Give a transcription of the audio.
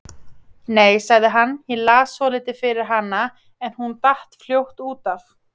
Nei, sagði hann, ég las svolítið fyrir hana en hún datt fljótt út af.